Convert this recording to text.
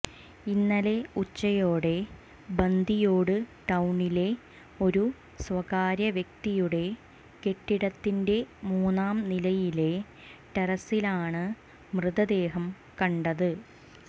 ഇന്നലെ ഉച്ചയോടെ ബന്തിയോട് ടൌണിലെ ഒരു സ്വകാര്യ വ്യക്തിയുടെ കെട്ടിടത്തിന്റെ മൂന്നാംനിലയിലെ ടെറസിലാണ് മൃതദേഹം കണ്ടത്